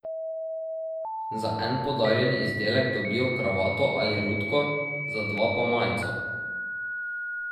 Za en podarjen izdelek dobijo kravato ali rutko, za dva pa majico.